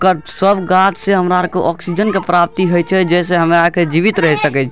कट सब गाछ छै हमरा आर के ऑक्सीजन के प्राप्ति होय छै जेसे हमरा के जीवित रह सके छी ।